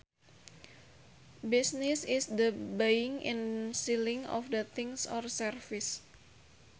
Business is the buying and selling of things or services